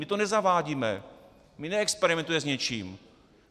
My to nezavádíme, my neexperimentujeme s něčím.